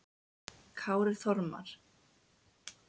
Kári Þormar.